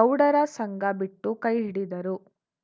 ಗೌಡರ ಸಂಗ ಬಿಟ್ಟು ಕೈ ಹಿಡಿದರು